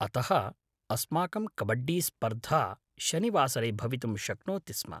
अतः, अस्माकं कबड्डीस्पर्धा शनिवासरे भवितुं शक्नोति स्म।